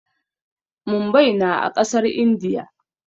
Mumbai na a ƙasar Indiya.